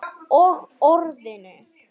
Og Orðinu.